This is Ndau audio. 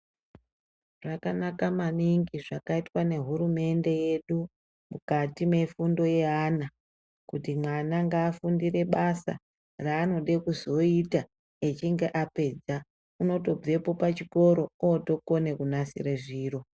Zvakanaka maningi zvakaitwa nehurumende yedu mukati mefundo yeana, kuti mwana ngaafundire basa raanode kuzoita echinge apedza. Unotobvepo pachikoro otokone kunasire zviro.